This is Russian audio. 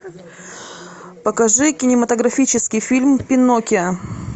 покажи кинематографический фильм пиноккио